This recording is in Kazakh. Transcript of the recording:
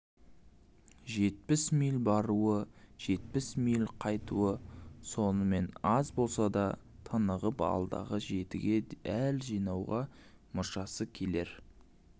жетпіс миль баруы жетпіс миль қайтуы сонымен аз да болса тынығып алдағы жетіге әл жинауға мұршасы келер